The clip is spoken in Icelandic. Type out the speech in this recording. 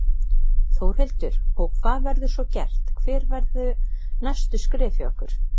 Þórhildur: Og hvað verður svo gert, hver verða næstu skref hjá ykkur?